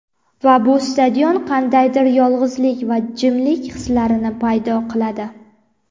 Va bu stadion qandaydir yolg‘izlik va jimlik hislarini paydo qiladi.